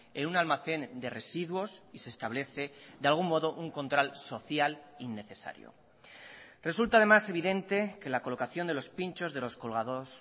en un almacén de residuos y se establece de algún modo un control social innecesario resulta además evidente que la colocación de los pinchos de los colgados